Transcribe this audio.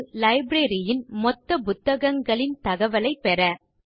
அது லைப்ரரி ன் மொத்த புத்தகங்களின் தகவலைப் பெற